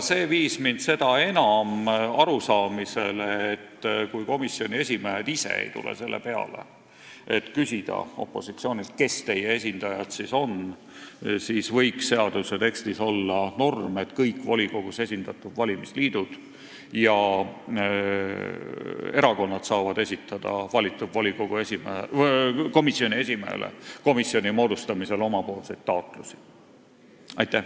See viis mind seda enam arusaamale, et kui komisjoni esimehed ise ei tule selle peale, et küsida opositsioonilt, kes nende esindajad on, siis võiks seaduse tekstis olla norm, et kõik volikogus esindatud valimisliidud ja erakonnad saavad valitud komisjoni esimehele komisjoni moodustamisel oma taotlusi esitada.